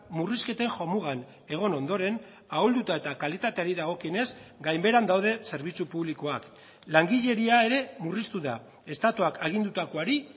murrizketen jomugan egon ondoren ahulduta eta kalitateari dagokionez gainbeheran daude zerbitzu publikoak langileria ere murriztu da estatuak agindutakoari